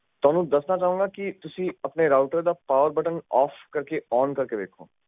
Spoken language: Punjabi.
ਥੋਨੂੰ ਦੱਸਣਾ ਚਾਹਾਂਗਾ ਕਿ ਤੁਸੀਂ ਆਪਣੇ ਰਾਊਟਰ ਦਾ ਪਾਵਰ ਬਟਨ ਓਫ ਕਰਕੇ ਓਨ ਕਰਕੇ ਦੇਖੋ